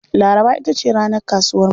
Laraba ita ce ranar kasuwarmu.